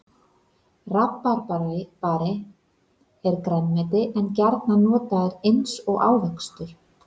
Rabarbari er grænmeti en gjarnan notaður eins og ávöxtur.